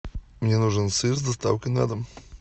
мне нужен сыр с доставкой на дом